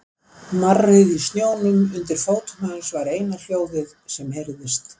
Marrið í snjónum undir fótum hans var eina hljóðið sem heyrðist.